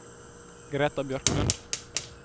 Greta Bjørklund